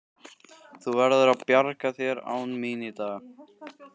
Þú verður að bjarga þér án mín í dag.